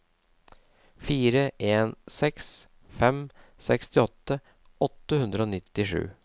fire en seks fem sekstiåtte åtte hundre og nittisju